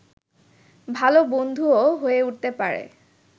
ভালো বন্ধুও হয়ে উঠতে পারে